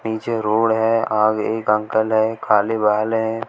पीछे रोड है आगे एक अंकल हैं काले बाल हैं।